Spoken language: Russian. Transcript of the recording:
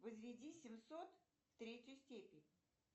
возведи семьсот в третью степень